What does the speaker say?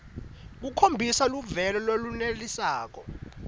khombisa luvelo lolwenelisako